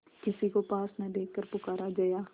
किसी को पास न देखकर पुकारा जया